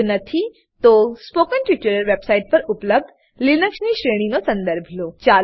જો નથી તો કૃપા કરી સ્પોકન ટ્યુટોરીયલ વેબસાઈટ પર ઉપલબ્ધ લીનક્સ શ્રુંખલાનો સંદર્ભ લો